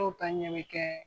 ta ɲɛ bɛ kɛ